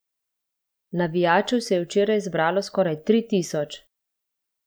Navijačev se je včeraj zbralo skoraj tri tisoč.